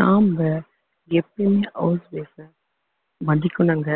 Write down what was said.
நாம எப்பயுமே house wife அ மதிக்கணுங்க